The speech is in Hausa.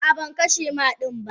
Ah ah bankashe ma dannin ba.